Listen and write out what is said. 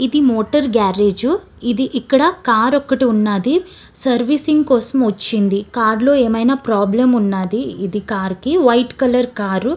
ఇది motor garage . ఇది ఇక్కడ కార్ ఒక్కటి ఉన్నాది. సర్వీసింగ్ కోసం ఒచ్చింది కార్ ఏమైనా ప్రాబ్లెమ్ ఉన్నాది. White colour car .